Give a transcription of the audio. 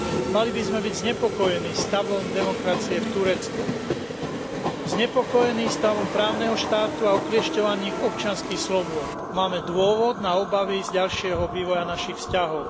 Mali by sme byť znepokojení stavom demokracie v Turecku. Znepokojení stavom právneho štátu a okliešťovaných občianskych slobôd. Máme dôvod na obavy z ďalšieho vývoja našich vzťahov.